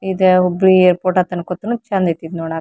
ಇದ ಹುಬ್ಬಳೀ ಏರ್ಪೊರ್ಟ್ ಅಂದ್ ಅಂತ್ಕೊತೀನಿ ಚಂದ್ ಇತ್ತ್ ಇದ್ ನೋಡಾಕ್.